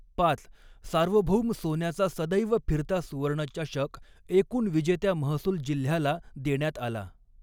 पाच सार्वभौम सोन्याचा सदैव फिरता सुवर्ण चषक एकूण विजेत्या महसूल जिल्ह्याला देण्यात आला.